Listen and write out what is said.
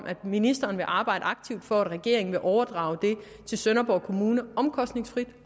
at ministeren vil arbejde aktivt for at regeringen vil overdrage det til sønderborg kommune omkostningsfrit